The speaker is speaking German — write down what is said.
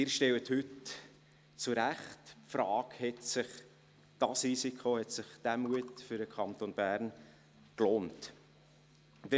Heute stellen Sie zu Recht die Frage, ob sich dieses Risiko, dieser Mut für den Kanton Bern gelohnt hat.